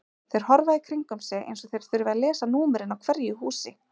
Þeir horfa í kringum sig eins og þeir þurfi að lesa númerin á hverju húsi.